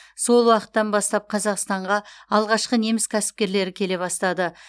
сол уақыттан бастап қазақстанға алғашқы неміс кәсіпкерлері келе бастады